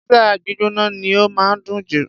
Pizza gbígbóná ni ó máa ń dùn jù.